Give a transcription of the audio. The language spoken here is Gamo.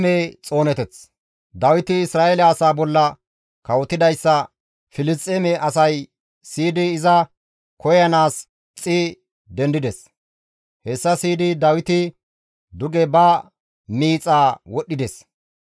Dawiti Isra7eele asaa bolla kawotidayssa Filisxeeme asay siyidi iza koyanaas gixxi dendides; hessa siyidi Dawiti duge ba miixa wodhdhides.